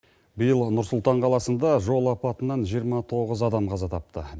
биыл нұр сұлтан қаласында жол апатынан жиырма тоғыз адам қаза тапты